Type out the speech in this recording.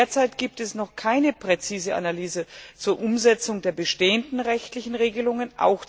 Derzeit gibt es noch keine präzise Analyse zur Umsetzung der bestehenden rechtlichen Regelungen.